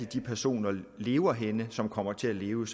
de personer lever henne som kommer til at leve